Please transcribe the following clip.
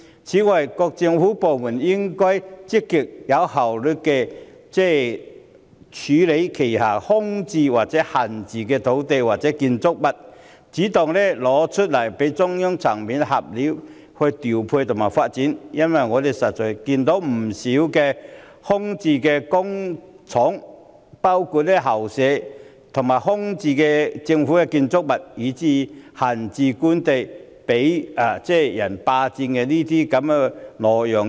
此外，各政府部門應該積極及有效率地處理手上空置或閒置的土地和建築物，主動交出再由中央層面作調配和發展，因為我們實在看到不少空置工廈和校舍、空置政府建築物，以至閒置官地被人霸佔或挪用。